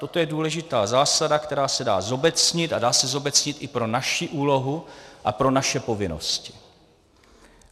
Toto je důležitá zásada, která se dá zobecnit a dá se zobecnit i pro naši úlohu a pro naše povinnosti.